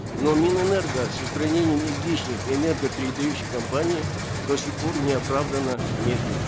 но минэнерго с устранением излишних энергопередающих компаний до сих пор неоправданно медлит